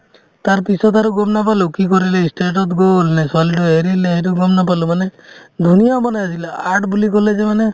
তাৰপিছত আৰু গম নাপালো কি কৰিলে ই state ত গ'লে নে ছোৱালীটোয়ে এৰিলে সেইটো গম নাপালো মানে ধুনীয়া বনাইছিলে art বুলি ক'লে যে মানে